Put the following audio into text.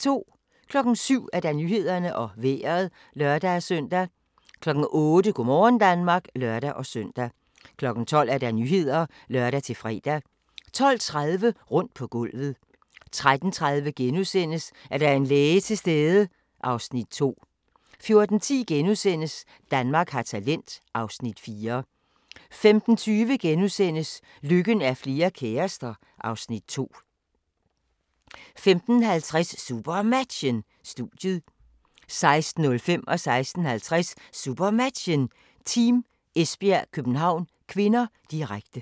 07:00: Nyhederne og Vejret (lør-søn) 08:00: Go' morgen Danmark (lør-søn) 12:00: Nyhederne (lør-fre) 12:30: Rundt på gulvet 13:30: Er der en læge til stede? (Afs. 2)* 14:10: Danmark har talent (Afs. 4)* 15:20: Lykken er flere kærester (Afs. 2)* 15:50: SuperMatchen: Studiet 16:05: SuperMatchen: Team Esbjerg-København (k), direkte 16:50: SuperMatchen: Team Esbjerg-København (k), direkte